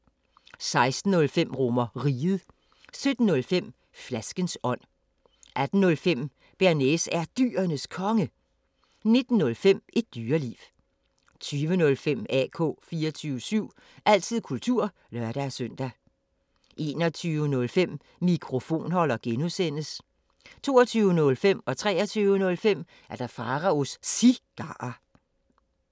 16:05: RomerRiget 17:05: Flaskens ånd 18:05: Bearnaise er Dyrenes Konge 19:05: Et Dyreliv 20:05: AK 24syv – altid kultur (lør-søn) 21:05: Mikrofonholder (G) 22:05: Pharaos Cigarer 23:05: Pharaos Cigarer